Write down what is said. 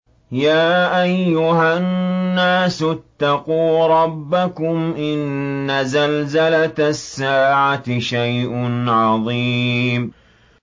يَا أَيُّهَا النَّاسُ اتَّقُوا رَبَّكُمْ ۚ إِنَّ زَلْزَلَةَ السَّاعَةِ شَيْءٌ عَظِيمٌ